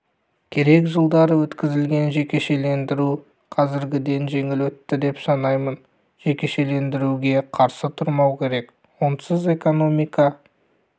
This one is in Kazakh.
керек жылдары өткізілген жекешелендіру қазіргіден жеңіл өтті деп санаймын жекешелендіруге қарсы тұрмау керек онсыз экономика